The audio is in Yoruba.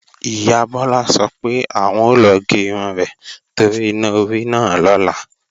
Ìyá Bọ́lá sọ pé, àwọn o lọ gé irun rẹ̀ torí iná orí náà lọ́la